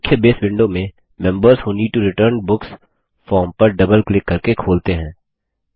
मुख्य बसे विंडो मेंMembers who need to return books form पर डबल क्लिक करके खोलते हैं